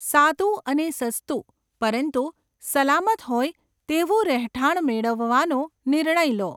સાદું અને સસ્તું, પરંતુ સલામત હોય તેવું રહેઠાણ મેળવવાનો નિર્ણય લો.